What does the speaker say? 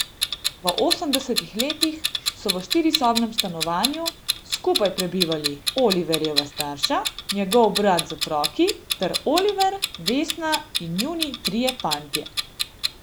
V osemdesetih letih so v štirisobnem stanovanju skupaj prebivali Oliverjeva starša, njegov brat z otroki ter Oliver, Vesna in njuni trije fantje.